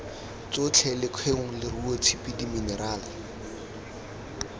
tsotlhe lekgong leruo tshipi diminerale